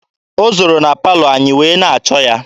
O zooro na palọ anyị wee na-achọ ya.